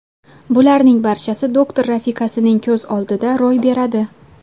Bularning barchasi doktor rafiqasining ko‘z oldida ro‘y beradi.